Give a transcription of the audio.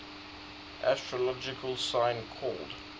astrological sign called